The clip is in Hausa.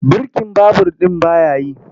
Birkin babur ɗin ba ya yi.